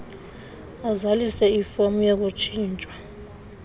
azalise ifom yokutshintshwa